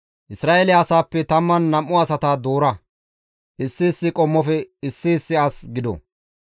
«Isra7eele asaappe 12 asata doora; issi issi qommofe issi issi as gido.